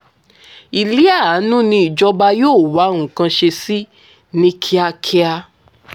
ìlíàánú ni ìjọba yóò wá nǹkan ṣe sí i ní kíákíá